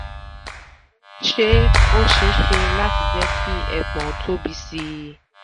ṣé ó ṣeé ṣe láti jẹ́ ki ẹpọ̀n tóbi sí i?